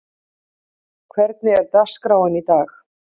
Auðun, hvernig er dagskráin í dag?